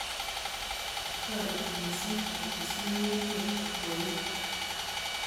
Toreti missing kotesyi nyung'unyek akwoiyet